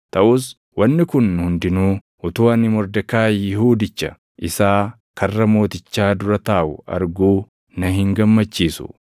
Taʼus wanni kun hundinuu utuu ani Mordekaayi Yihuudicha isaa karra mootichaa dura taaʼu arguu na hin gammachiisu.”